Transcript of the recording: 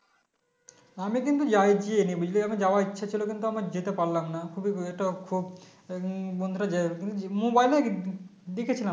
আমি কিন্তু যাই যায়নি যাওয়ার ইচ্ছে ছিল কিন্তু আমি যেতে পারলাম না খুবই উম এটা খুব উম বন্ধুরা গিয়েছিলো Mobile এ উম দেখেছিলাম